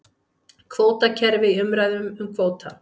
Kvótakerfi í umræðum um kvóta